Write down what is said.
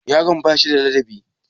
Yaron ba shi da ladabi?